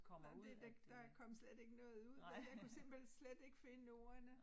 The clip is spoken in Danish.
Nej det der der kom slet ikke noget ud men jeg kunne simpelthen slet ikke finde ordene